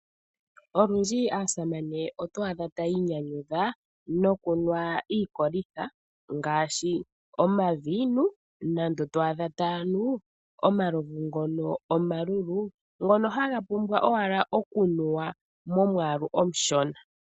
Olundji aasamane oto adha taya inyanyudha nokunwa iikolitha ngaashi omaviinu nenge to adha taya nu omalovu ngono omalulu ngono haga pumbwa owala okunuwa momwaalu omushona.